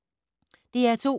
DR2